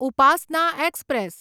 Upasana express